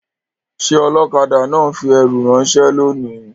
Ṣé ọlọ́kadà náà ń fi ẹrù ránṣẹ́ lónìí?